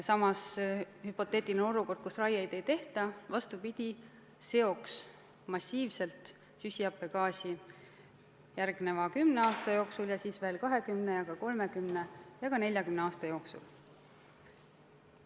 Samas hüpoteetiline olukord, kus raieid ei tehta, vastupidi, seoks massiivselt süsihappegaasi järgmise kümne aasta jooksul ja siis veel 20 ja ka 30 ja 40 aasta jooksul.